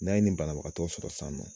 N'an ye nin banabagatɔ sɔrɔ sisannɔ.